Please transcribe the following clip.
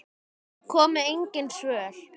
Það komu engin svör.